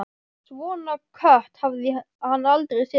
Svona kött hafði hann aldrei séð fyrr.